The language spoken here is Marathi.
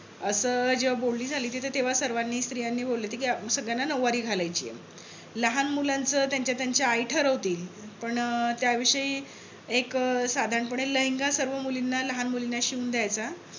अस जेव्हा बोलनी झाली होती तर तेंव्हा सर्वांनी स्त्रियांनी बोलले होते कि सगळ्यांना नौवारी घालायची आहे. लहान मुलांचं त्यांच्या त्यांच्या आई ठरवतील. पण त्या विषयी एक साधारण पणे एक लेहंगा सर्व मुलींना लहान मुलींना शिवून द्यायचा.